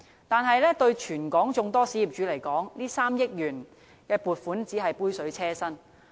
但對於全港眾多小業主而言，這3億元撥款只是杯水車薪。